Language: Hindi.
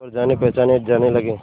पर जानेपहचाने जाने लगे